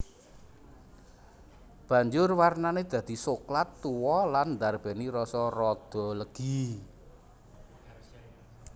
Banjur warnané dadi soklat tuwa lan ndarbèni rasa rada legi